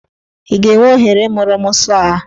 Ị ga-enwe ohere ịmụrụ mụ sọọ a?